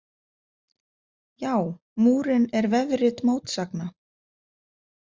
Já, Múrinn er vefrit mótsagna!